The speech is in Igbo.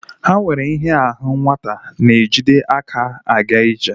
Ha nwere ihe ahu nwata na-ejide aka a ga-ije.